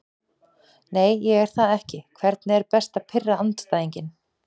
Nei ég er það ekki Hvernig er best að pirra andstæðinginn?